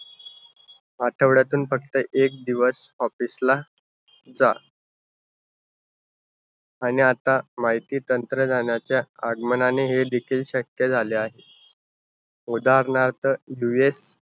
आठवड्यातून फक्त एक दिवस office ला जा. आणि आता माहिती तंत्रज्ञानाच्या आगमनाने हेदेखील शक्य झाले आहे. उदाहरणार्थ duet